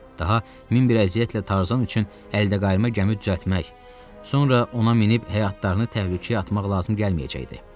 Daha min bir əziyyətlə Tarzan üçün əldəqayırma gəmi düzəltmək, sonra ona minib həyatlarını təhlükəyə atmaq lazım gəlməyəcəkdi.